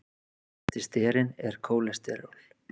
Þekktasti sterinn er kólesteról.